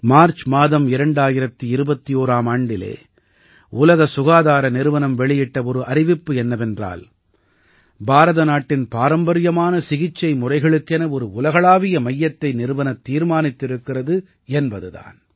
March மாதம் 2021ஆம் ஆண்டிலே உலக சுகாதார நிறுவனம் வெளியிட்ட ஒரு அறிவிப்பு என்னவென்றால் பாரத நாட்டின் பாரம்பரியமான சிகிச்சை முறைகளுக்கென ஒரு உலகளாவிய மையத்தை நிறுவத் தீர்மானித்திருக்கிறது என்பது தான்